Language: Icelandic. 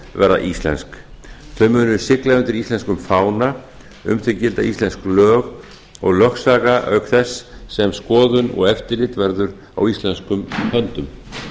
verða íslensk þau munu sigla undir íslenskum fána um þau gilda íslensk lög og lögsaga auk þess sem skoðun og eftirlit verður á íslenskum höndum